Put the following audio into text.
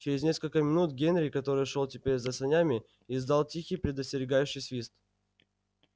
через несколько минут генри который шёл теперь за санями издал тихий предостерегающий свист